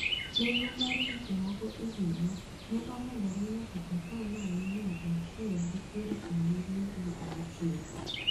Nengo mar gik moko e higa ne omedore nyaka ata malo mia achiel gi piero abiriyo gi auchiel.